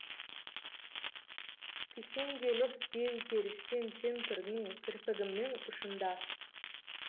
кісенделіп беу періштем сен тұрдың кірпігімнің ұшында